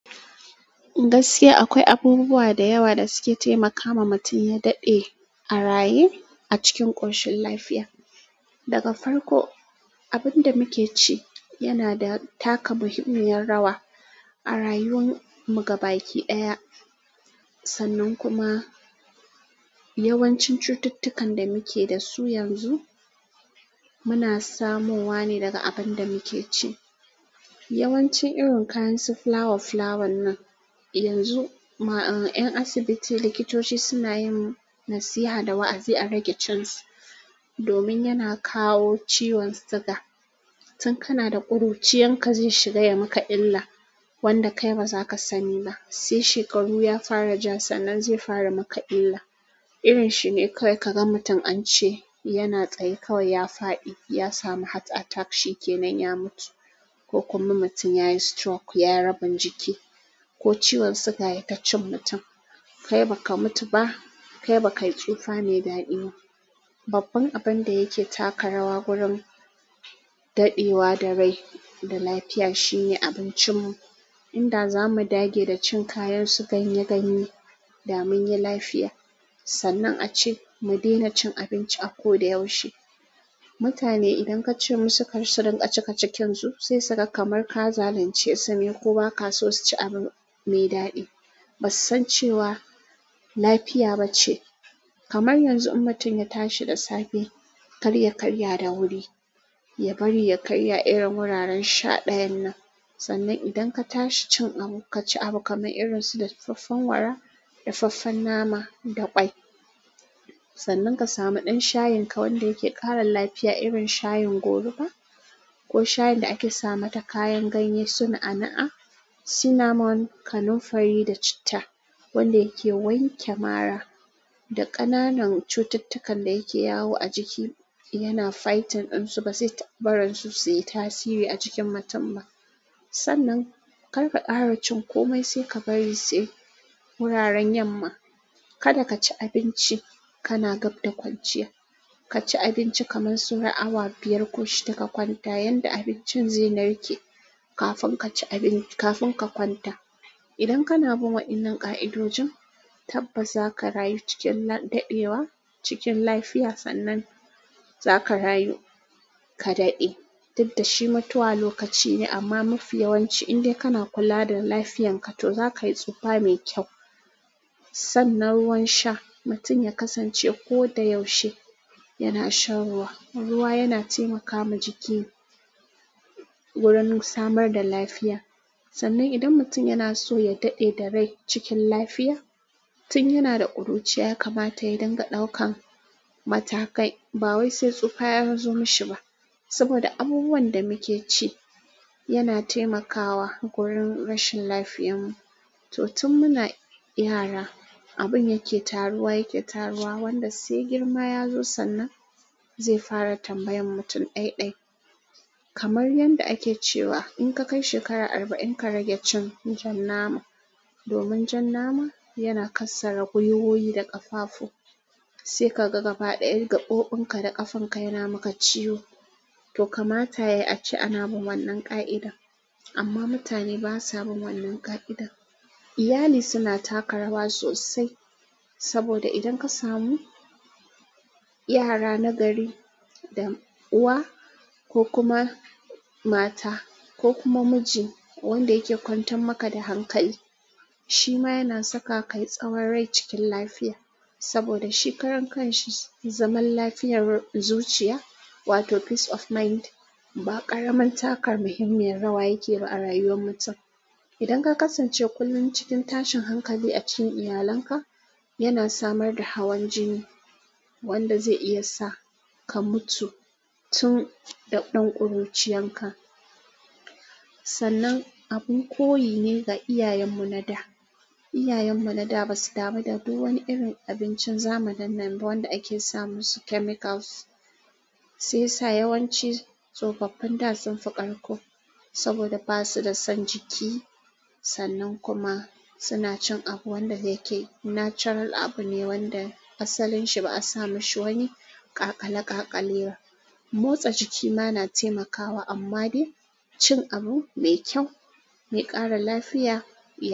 Gaskiya akwai abubuwa da yawa da suke taimakawa mutum ya daɗe a raye a cikin ƙoshin lafiya. Daga farko, abin da muke ci yana da taka muhimmiyar rawa a rayuwar mu gabaki ɗaya. Sannan kuma yawancin cututtukan da muke da su yanzu muna samun wa ne daga abin da muke ci. Yawanci irin kayansu fulawa fulawan nan, yanzu ƴan asibiti likitoci suna yin nasiha da wa'azi a rage cin su domin yana kawo ciwon siga. Tun kana da ƙuruciyarka zai shiga ya maka illa wanda kai ba za ka sani ba. Sai shekaru ya fara ja sannan zai fara maka illa. Irin shi ne kawai ka ga mutum an ce yana tsaye kawai ya faɗi, ya samu heart attack shike nan ya mutu ko kuma mutum ya yi stroke ya raba jiki ko ciwon siga ya tacci mutum. Kai baka mutu ba, kai bakai tsufa mai daɗi ba babban abin da yake taka rawa wurin daɗewa da rai da lafiya shine abincinmu. Inda zamu dage da cin kayan su ganye ganye da munyi lafiya. Sannan ace mu daina cin abinci a ko da yaushe. Mutane idan ka ce musu kar su rinƙa cika cikin su, sai suka kamar ka zalunce su ne ko ba ka so su ci abu mai daɗi. Ba su san cewa lafiya ba ce. Kamar yanzu mutum ya tashi da safe, kar ya karya da wuri, ya bari ya karya irin wuraren sha ɗayan nan. Sannan idan ka tashi cin abu, ka ci abu kamar irin su dafaffen wara, dafaffen nama da ƙwai. Sannan ka samu ɗan shayin ka wanda yake ƙara lafiya irin shayin goruba ko shayin da ake sa mata kayan ganye sun a na'a, cinnamon, kanunfari da citta wanda yake wanke mara da ƙananan cututtukan da yake yawo a jiki. Yana fighting ɗinsu ba sai taɓaran su su yi tasiri a jikin mutum ba. Sannan kar ka ƙara cin komai sai ka bari sai wuraren yamma. Kada ka ci abinci kana gab da kwanciya. Ka ci abinci kamar sau ra awa biyar ko shida ka kwanta yanda abincin zai narke kafin ka ci abinci, kafin ka kwanta. Idan kana bin waɗannan ƙa'idojin, tabbas za ka rayu cikin daɗewa cikin lafiya sannan za ka rayu ka daɗe. Duk da shi matuwal lokaci ne amma mafi yawanci idan kana kula da lafiyan ka to za ka yi tsufa mai kyau. Sannan ruwan sha mutum ya kasance ko da yaushe yana shan ruwa. Ruwa yana taimaka wa jiki wurin samar da lafiya. Sannan idan mutum yana so ya daɗe da rai cikin lafiya, tun yana da ƙuruciya kamata ya dinga ɗaukan matakai. Ba wai sai tsufa ya zo mashi ba. Saboda abubuwan da muke ci yana taimakawa wurin rashin lafiyan mu. To tun muna yara, abin yake taruwa yake taruwa wanda sai girma ya zo sannan zai fara tambayan mutum ɗaiɗai. Kamar yanda ake cewa in ka kai shekara arba'in ka rage cin jan nama domin jan nama yana kassare gwiwoyi da ƙafafu. Sai ka ga gaba ɗaya gaɓoɓin ka da ƙafen ka yana maka ciwo. To kamata yayi ace a na bin wannan ƙa'ida amma mutane ba sa bin wannan ƙa'ida. Iyali suna taka rawa sosai saboda idan ka samu yara nagari da uwa ko kuma mata ko kuma miji wanda yake kwantan maka da hankali, shi ma yana saka kai tsawon rai cikin lafiya. Saboda shi ƙarin kan shi zaman lafiyar zuciya wato peace of mind ba ƙaramin takar muhimmiyar rawa yake yi ba a rayuwar mutum. Idan ka kasance kullum cikin tashin hankali a cikin iyalanka, yana samar da hawan jini wanda zai iya sa ka mutu tun da ɗan ƙuruciyan ka. Sannan abin koyi ne ga iyayenmu na da. Iyayenmu na da ba su damu da kowane irin abincin zamanin nan ba wanda ake sa musu chemicals. Sai sa yawanci tsofaffin da sun fi ƙarko saboda ba su da son jiki. Sannan kuma suna cin abu wanda yake natural abu ne wanda asalin shi ba a sa mashi wani ƙaqalaƙaqale ba. Motsa jiki ma na taimakawa amma dai cin abu mai kyau mai ƙara lafiya.